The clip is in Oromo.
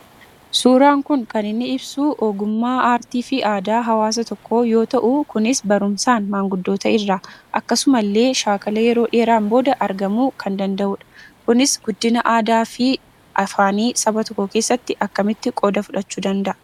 Suuraan kun kan inni ibsuu ogummaa aartii fi aadaa hawaasa tokkoo yoo ta'u kunis barumsaan maanguddoota irraa, akkasuma illee shaakala yeroo dheeraan booda argamuu kan danda'uudha. Kunis guddina aadaa fi afaan saba tokkoo keessatti akkasitti qooda fudhachuu danda'a.